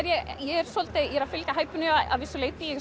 ég hæpinu að vissu leyti ég er